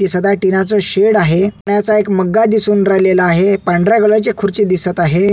दिसत आहे टीना च शेड आहे पाण्याचा मग्गा दिसून राहिलेला आहे पांढऱ्या कलर ची खुर्ची दिसत आहे.